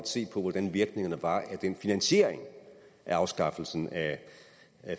se på hvordan virkningen var af den finansiering af afskaffelsen af